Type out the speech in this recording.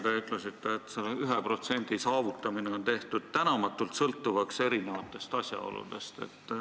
Te ütlesite, et see 1% saavutamine on tehtud tänamatult sõltuvaks erinevatest asjaoludest.